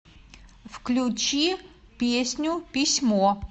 включи песню письмо